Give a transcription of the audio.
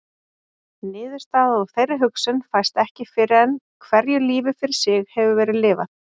Niðurstaða úr þeirri hugsun fæst ekki fyrr en hverju lífi fyrir sig hefur verið lifað.